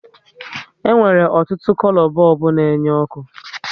E nwere ọtụtụ kolo bọlbụ na enye oku